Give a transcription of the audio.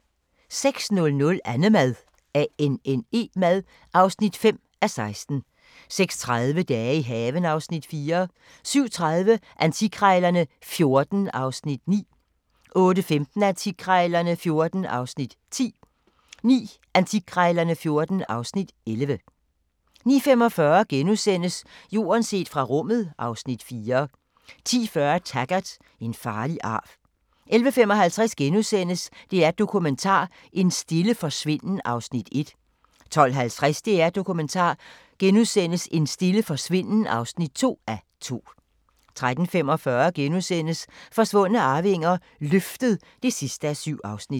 06:00: Annemad (5:16) 06:30: Dage i haven (Afs. 4) 07:30: Antikkrejlerne XIV (Afs. 9) 08:15: Antikkrejlerne XIV (Afs. 10) 09:00: Antikkrejlerne XIV (Afs. 11) 09:45: Jorden set fra rummet (Afs. 4)* 10:40: Taggart: En farlig arv 11:55: DR1 Dokumentar: En stille forsvinden (1:2)* 12:50: DR1 Dokumentar: En stille forsvinden (2:2)* 13:45: Forsvundne arvinger: Løftet (7:7)*